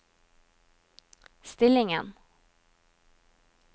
stillingen